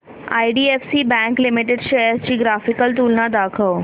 IDFC bank limited shares ची graphical तुलना दाखव